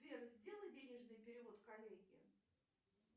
сбер сделай денежный перевод коллеге